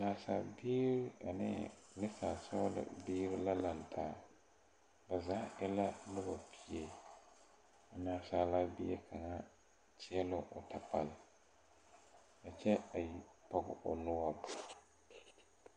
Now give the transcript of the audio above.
Naasabiire ane nesaalsɔglɔ biire la laŋtaa ba zaa e la nobɔ pie a naasaalaa bie kaŋa kyiile o takpal a kyɛ a pɔge o noɔre.